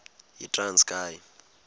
yitranskayi